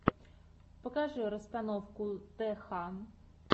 покажи расстановку тх